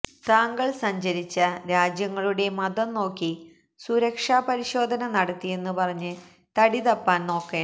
താങ്കൾ സഞ്ചരിച്ച രാജ്യങ്ങളുടെ മതം നോക്കി സുരക്ഷാ പരിശോധന നടത്തിയെന്ന് പറഞ്ഞ് തടിതപ്പാൻ നോക്കേണ്ട